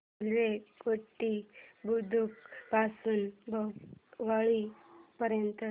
railway Ghoti Budruk पासून भुसावळ पर्यंत